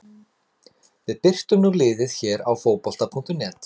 Við birtum nú liðið hér á Fótbolta.net.